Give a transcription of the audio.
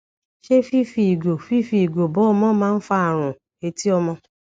ṣé fífi ìgò fífi ìgò bọ ọmọ maa ń fa àrùn etí ọmọ